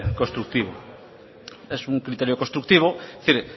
constructivo es un criterio constructivo es decir